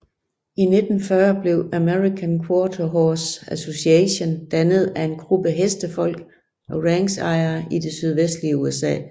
I 1940 blev American Quarter Horse Association dannet af en gruppe hestefolk og ranchejere i det sydvestlige USA